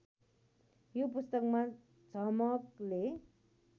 यो पुस्तकमा झमकले